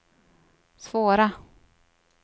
svåra